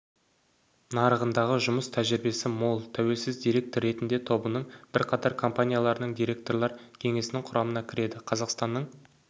нарығындағы жұмыс тәжірибесі мол тәуелсіз директор ретінде тобының бірқатар компанияларының директорлар кеңесінің құрамына кіреді қазақстанның